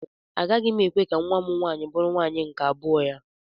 Agaghị m ekwe ka nwa m nwaanyị bụrụ nwaanyị nke abụọ ya.